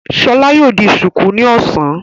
Ṣọlá yóò di ṣùkú ní ọ̀sán.